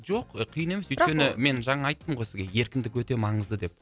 жоқ қиын емес өйткені мен жаңа айттым ғой сізге еркіндік өте маңызды деп